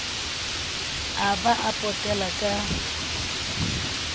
a ba a potela ka